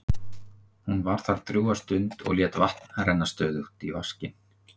Hún var þar drjúga stund og lét vatn renna stöðugt í vaskinn.